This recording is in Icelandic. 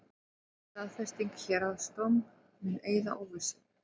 Staðfesting héraðsdóms mun eyða óvissu